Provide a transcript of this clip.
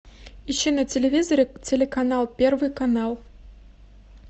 ищи на телевизоре телеканал первый канал